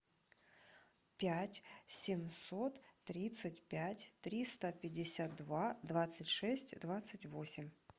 пять семьсот тридцать пять триста пятьдесят два двадцать шесть двадцать восемь